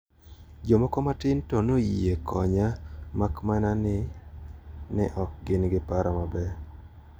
Jomoko matin to noyie konya makmana ni ne ok gin gi paro maber.